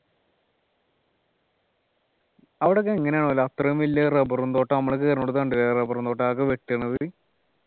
അവിടൊക്കെ എങ്ങനെ ആവോ അത്രയും വലിയ rubber ഉം തോട്ടം നമ്മൾ കേറുന്നോടത്ത് കണ്ടില്ലേ rubber ഉം തോട്ടം അതൊക്കെ വെട്ടുണത്